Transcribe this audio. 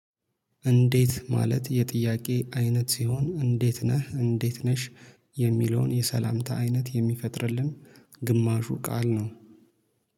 እንዴት ማለት የጥያቄ አይነት ሲሆን እንዴት ነህ እንዴት ነሽ? የሚለውን የሰላምታ አይነት የሚፈጥርልን ግማሹ ቃል ነው